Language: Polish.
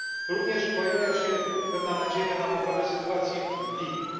Również pojawia się pewna nadzieja na poprawę sytuacji w Libii.